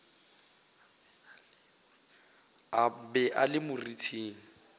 a be a le moriting